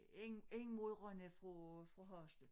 Ind ind mod Rønne fra fra Hasle